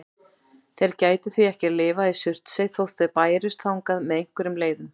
Þeir gætu því ekki lifað í Surtsey þótt þeir bærust þangað með einhverjum leiðum.